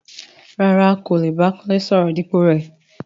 Rárá,n kò lè bá Kúnlé sọ̀rọ̀ dípò rẹ.